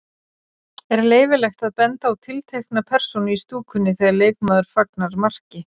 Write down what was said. Er leyfilegt að benda á tiltekna persónu í stúkunni þegar leikmaður fagnar marki?